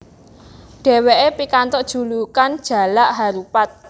Dheweke pikantuk julukan Jalak Harupat